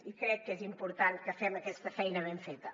i crec que és important que fem aquesta feina ben feta